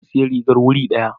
Na sayi rigar wuri ɗari.